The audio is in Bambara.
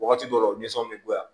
Wagati dɔw nisɔn bɛ bonya